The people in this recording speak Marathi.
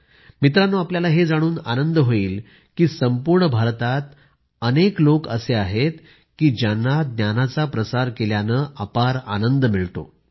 मित्रांनो आपल्याला हे जाणून आनंद होईल की संपूर्ण भारतात अनेक लोक असे आहेत की ज्यांना ज्ञानाच्या प्रसार केल्यानं अपार आनंद मिळतो